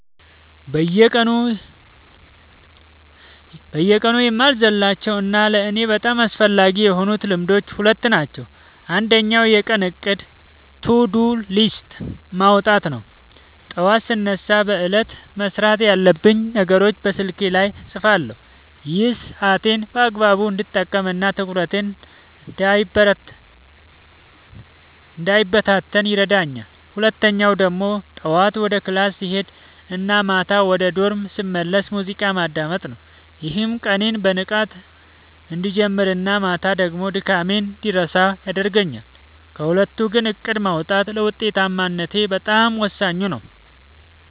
በየቀኑ የማልዘልላቸው እና ለእኔ በጣም አስፈላጊ የሆኑት ልማዶች ሁለት ናቸው። አንደኛው የቀን እቅድ (To-Do List) ማውጣት ነው፤ ጠዋት ስነሳ በዕለቱ መስራት ያለብኝን ነገሮች በስልኬ ላይ እጽፋለሁ። ይሄ ሰዓቴን በአግባቡ እንድጠቀምና ትኩረቴ እንዳይበታተን ይረዳኛል። ሁለተኛው ደግሞ ጠዋት ወደ ክላስ ስሄድ እና ማታ ወደ ዶርም ስመለስ ሙዚቃ ማዳመጥ ነው፤ ይህም ቀኔን በንቃት እንድጀምርና ማታ ደግሞ ድካሜን እንድረሳ ያደርገኛል። ከሁለቱ ግን እቅድ ማውጣቱ ለውጤታማነቴ በጣም ወሳኙ ነው።